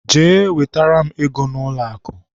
Jee wetara m ego n'ụlọakụ!